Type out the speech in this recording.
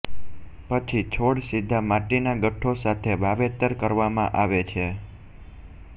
પછી છોડ સીધા માટીના ગઠ્ઠો સાથે વાવેતર કરવામાં આવે છે